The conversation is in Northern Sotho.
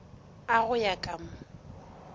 a go ya ka mo